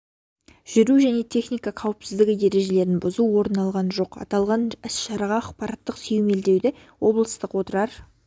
жүру және техника қауіпсіздігі ережелерін бұзу орын алған жоқ аталған іс-шараға ақпараттық сүйемелдеуді облыстық отырар